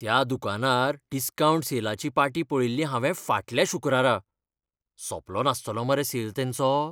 त्या दुकानार डिस्कावंट सेलाची पाटी पळयल्ली हावें फाटल्या शुक्रारा. सोंपलो नास्तलो मरे सेल तेंचो?